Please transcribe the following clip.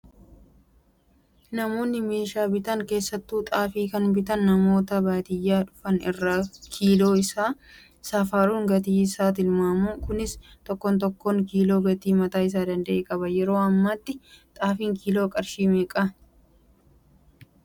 Namoonni mishaan bitan keessattuu xaafii kan bitan namoota baadiyyaa dhufan irraa kiiloo isaa safaruun gatii isaa tilmaamu. Kunis tokkoon tokkoo kiiloo gatii mataa isaa danda'e qaba. Yeroo ammaatti xaafiin kiiloon qarshii meeqaa?